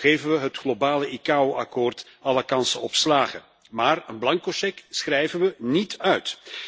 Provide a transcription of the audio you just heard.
Zo geven we het globale ICAO akkoord alle kansen op slagen, maar een blanco cheque schrijven we niet uit.